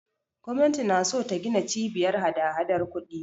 Gwamnati na so ta gina Cibiyar hadahadar kuɗi.